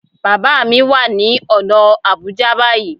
Bàbá mi wà ní ọ̀nà Àbújá báyìí